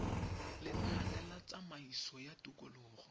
lenane la tsamaiso ya tikologo